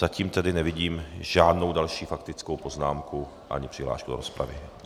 Zatím tedy nevidím žádnou další faktickou poznámku ani přihlášku do rozpravy.